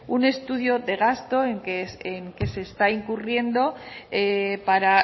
un estudio de gasto en qué se está incurriendo para